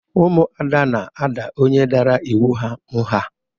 Umuada na-ada onye dara ịwụ ha ngha